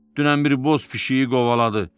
Dünən bir boz pişiyi qovaladı.